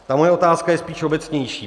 Ta moje otázka je spíš obecnější.